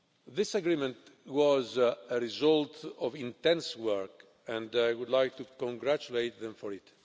This agreement was the result of intense work and I would like to congratulate them for it.